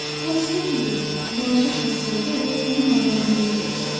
O istəmirdi ki, balaca Şahzadə onun ağladığını görsün.